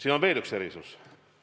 Aga on veel üks erisus.